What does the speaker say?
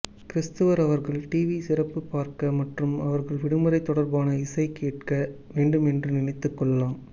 கிரிஸ்துவர் அவர்கள் டிவி சிறப்பு பார்க்க மற்றும் அவர்கள் விடுமுறை தொடர்பான இசை கேட்க வேண்டும் என்று நினைத்து கொள்ளலாம்